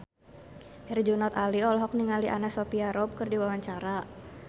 Herjunot Ali olohok ningali Anna Sophia Robb keur diwawancara